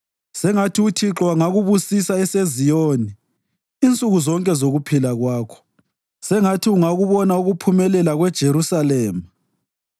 Sengathi uThixo angakubusisa eseZiyoni insuku zonke zokuphila kwakho; sengathi ungakubona ukuphumelela kweJerusalema,